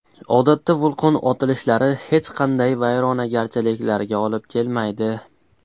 Odatda vulqon otilishlari hech qanday vayronagarchiliklarga olib kelmaydi.